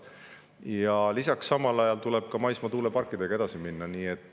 Samal ajal tuleb ka maismaa tuuleparkidega edasi minna.